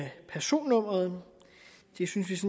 af personnummeret det synes